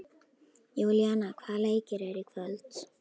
Júlíana, hvaða leikir eru í kvöld?